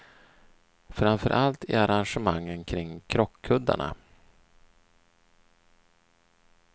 Framför allt i arrangemangen kring krockkuddarna.